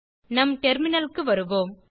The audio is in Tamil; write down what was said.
நம் டெர்மினல் க்கு வருவோம்